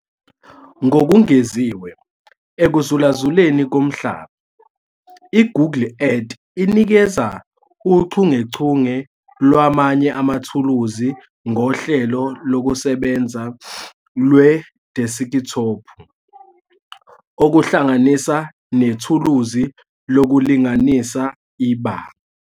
Ngokungeziwe ekuzulazuleni komhlaba, i-Google Earth inikeza uchungechunge lwamanye amathuluzi ngohlelo lokusebenza lwedeskithophu, okuhlanganisa nethuluzi lokulinganisa ibanga.